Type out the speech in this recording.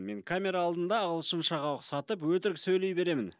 мен камера алдында ағылшыншаға ұқсатып өтірік сөйлей беремін